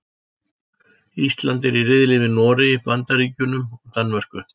Ísland er í riðli með Noregi, Bandaríkjunum og Danmörku.